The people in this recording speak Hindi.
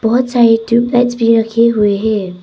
बहुत सारे ट्यूबलाइट्स भी रखे हुए हैं।